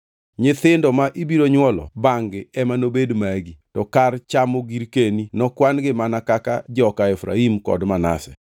Nyithindo ma ibiro nywolo bangʼ-gi ema nobed magi; to kar chamo girkeni, nokwan-gi mana kaka joka Efraim kod Manase.